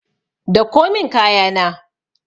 Dauko min kaya na.